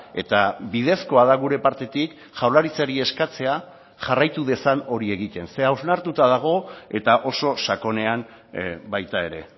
eta bidezkoa da gure partetik jaurlaritzari eskatzea jarraitu dezan hori egiten ze hausnartuta dago eta oso sakonean baita ere